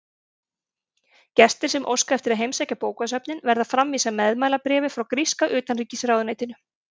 Gestir sem óska eftir að heimsækja bókasöfnin verða að framvísa meðmælabréfi frá gríska utanríkisráðuneytinu.